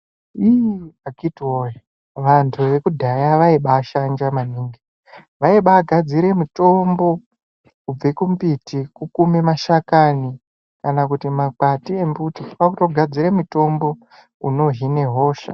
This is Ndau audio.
Iih akiti woye vantu vekudhaya vaibashanja vaibagadzira mitombo kubva kumbiti kukuma mashakani Kana kuti makwati emuti kwakutogadzira mitombo inohina hosha.